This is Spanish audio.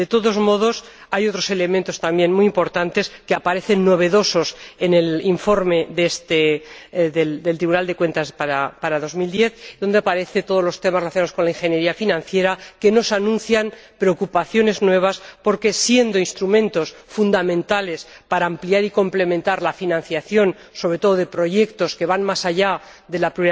De todos modos, hay otros elementos también muy importantes que aparecen novedosos en el informe del Tribunal de Cuentas para 2010 donde aparecen todos los temas relacionados con la ingeniería financiera que nos anuncian preocupaciones nuevas porque, siendo instrumentos fundamentales para ampliar y complementar la financiación, sobre todo de proyectos que van más allá de la